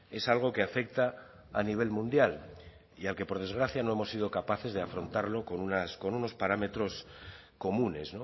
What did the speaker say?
es algo que afecta a nivel mundial y al que por desgracia no hemos sido capaces de afrontarlo con unos parámetros comunes